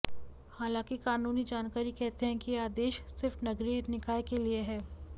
हालांकि कानूनी जानकारी कहते हैं कि यह आदेश सिर्फ नगरीय निकाय के लिए है